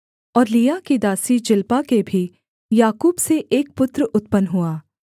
और लिआ की दासी जिल्पा के भी याकूब से एक पुत्र उत्पन्न हुआ